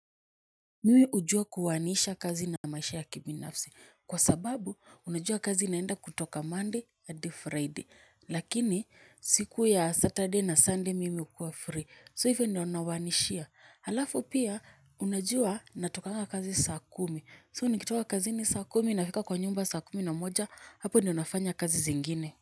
Mimi hujua kuoanisha kazi na maisha ya kibinafsi kwa sababu unajua kazi inaenda kutoka monday hadi friday lakini siku ya saturday na sunday mimi hukua free so hivyo ndo naoanishia halafu pia unajua natokanga kazi saa kumi so nikitoka kazini saa kumi nafika kwa nyumba saa kumi na moja hapo ndo nafanya kazi zingine.